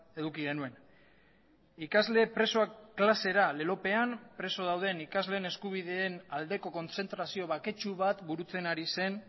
eduki genuen ikasle presoak klasera lelopean preso dauden ikasleen eskubideen aldeko kontzentrazio baketsu bat burutzen ari zen